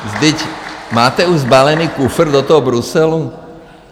Vždyť... máte už sbalený kufr do toho Bruselu?